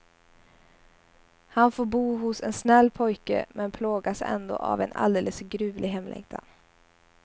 Han får bo hos en snäll pojke men plågas ändå av en alldeles gruvlig hemlängtan.